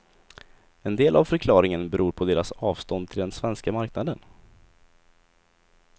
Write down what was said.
En del av förklaringen beror på deras avstånd till den svenska marknaden.